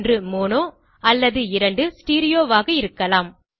1 அல்லது 2 ஆக இருக்கலாம்